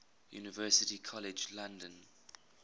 university college london